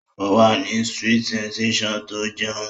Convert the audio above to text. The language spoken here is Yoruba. Ó wà ní sweet sensation tó ń jẹun